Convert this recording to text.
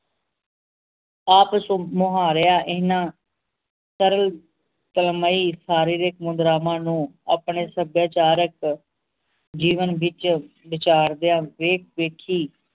ਆਪ ਸੂਹ ਮੁਹਾਰੇਯਾ ਇਹਨਾਂ ਤਰਲ ਤਲਮਈ ਸਾਰੇ ਰਸਮੋ ਦਰਾਮਾਂ ਨੂੰ ਆਪਣੇ ਸਭਿਆਚਾਰਕ ਜੀਵਨ ਵਿਚ ਵਿਚਾਰਦਾ ਵੇਖ ਵੇਖੀ